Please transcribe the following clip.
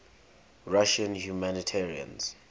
russian humanitarians